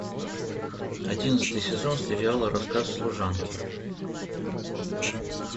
одиннадцатый сезон сериала рассказ служанки